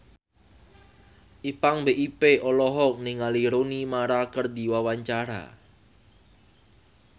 Ipank BIP olohok ningali Rooney Mara keur diwawancara